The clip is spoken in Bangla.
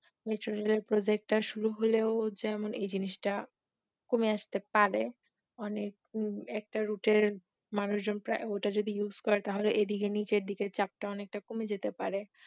metro rail এর project টা শুরু হোলেও এ জিনিসটা কমে আস্তে পারে, অনেক একটা route এর মানুষজন প্রায় যদি ওটা use করে তাহলে এদিকে নিচের দিকে চাপটা অনেক কমে যেতে পারে